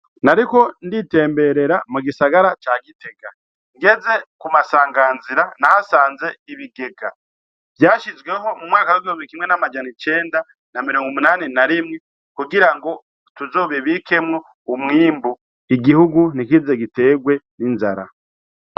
Nariko nditemberera mu gisagara ca Gitega, ngezee ku masanganzira nahasanze ibigega vyashizweho mu mwaka wa 1981 kugira ngo tuzobibikemwo umwimbu, Igihugu ntikize giterwe n'inzara.